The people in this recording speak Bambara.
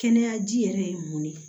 Kɛnɛya ji yɛrɛ ye mun ne